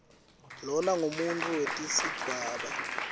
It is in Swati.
lona ngumuntfu wetesidvwaba